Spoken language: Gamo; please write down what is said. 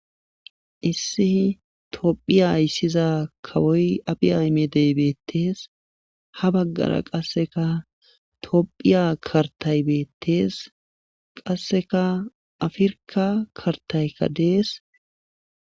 issi tophiya ayssiza kawoy abi aymedey beettees ha baggara qasseka tophiya kartay beettees qasseka afirka kartaykka dees